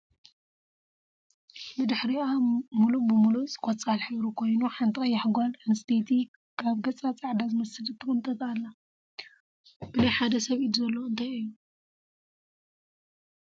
ብድሕርይኣ ሙሉእ ብሙሉእ ቆፃሕ ሕብሪ ኮይኑ ሓንቲ ቀያሕ ጎል ኣንስትየቲ ካብ ገፃ ፃዕዳ ዝመስል ትቅንጥጥ ኣላ። ብናይ ሓደ ሰብ ኢድ ዘሎ እንታይ እዩ ?